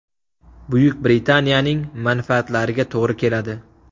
Buyuk Britaniyaning manfaatlariga to‘g‘ri keladi.